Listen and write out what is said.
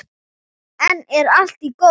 Enn er allt í góðu.